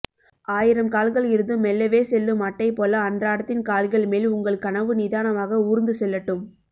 ஆயிரம் கால்கள் இருந்தும் மெல்லவே செல்லும் அட்டைபோல அன்றாடத்தின் கால்கள்மேல் உங்கள் கனவு நிதானமாக ஊர்ந்துசெல்லட்டும்